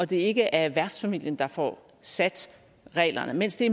det ikke er værtsfamilien der får sat reglerne mens det